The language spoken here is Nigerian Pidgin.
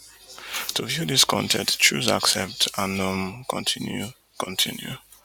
to view dis con ten t choose accept and um continue continue